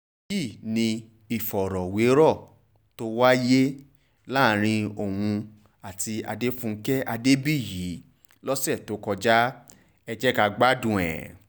èyí ni ìfọ̀rọ̀wérọ̀ tó wáyé láàrin òun àti adéfúkè adébíyì lọ́sẹ̀ tó kọjá ẹ̀ jẹ gbádùn ẹ̀